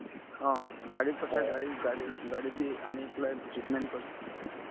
অ, গাড়ীত পঠাই গাড়ীতগাড়ীক গাড়ী দি আনি পেলাই treatment কৰে